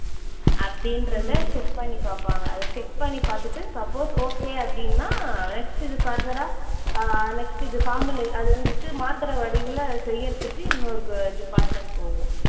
அப்படின்றதை check பண்ணி பார்ப்பாங்க. அதை check பண்ணி பார்த்துட்டு suppose okay அப்படின்னா next இது further ஆ அஹ் next இது sample உ அது வந்துட்டு மாத்திரை வடிவில செய்றதுக்கு இன்னொரு அஹ் department போகும்.